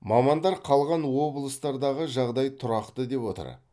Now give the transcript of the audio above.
мамандар қалған облыстардағы жағдай тұрақты деп отыр